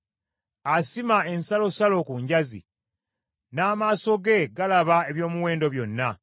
Asima ensalosalo ku njazi; n’amaaso ge galaba eby’omuwendo byonna.